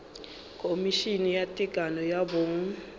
khomišene ya tekano ya bong